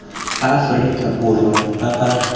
ba aforika borwa ba ba